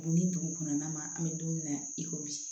Bonni dugu kɔnɔna na an bɛ don min na i ko bi